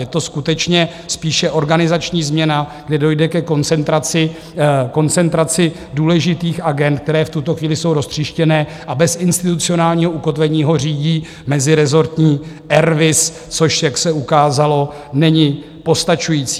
Je to skutečně spíše organizační změna, kdy dojde ke koncentraci důležitých agend, které v tuto chvíli jsou roztříštěné a bez institucionálního ukotvení je řídí mezirezortní RVIS, což, jak se ukázalo, není postačující.